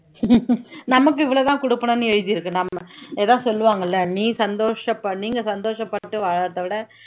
நமக்கு இவ்ளோதான் குடுக்கணும்ன்னு எழுதியிருக்கு நம்ம ஏதோ சொல்லுவாங்கல்லே நீ சந்தோஷப்பா நீங்க சந்தோஷப்பட்டு வாழறதை விட